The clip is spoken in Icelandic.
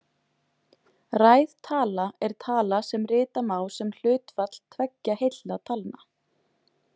Ræð tala er tala sem rita má sem hlutfall tveggja heilla talna.